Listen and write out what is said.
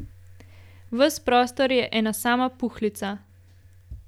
Ves prostor je ena sama puhlica.